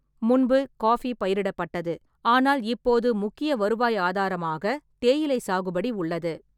முன்பு, காஃபி பயிரிடப்பட்டது, ஆனால் இப்போது முக்கிய வருவாய் ஆதாரமாக தேயிலை சாகுபடி உள்ளது.